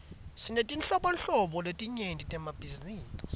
sinetetinhlobo letinyenti temabhizinisi